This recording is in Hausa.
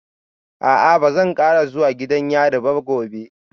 A'a ba zan kara zuwa gidan yari ba gobe